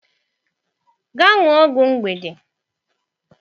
Gaa ṅụọ ọgwụ mgbede.